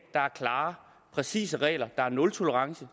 der er klare og præcise regler der er nultolerance